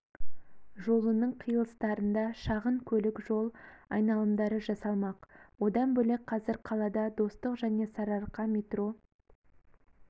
жолының қиылыстарында шағын көлік жол айналымдары жасалмақ одан бөлек қазір қалада достық және сарыарқа метро